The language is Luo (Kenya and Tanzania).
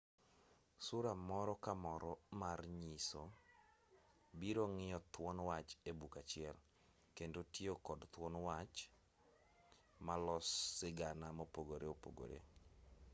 sura moro ka moro mar nyiso biro ng'iyo thuon wach e buk achiel kendo tiyo kod thuon wach malos sigana mopogoreopogore.